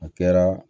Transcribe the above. A kɛra